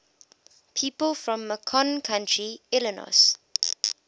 people from macon county illinois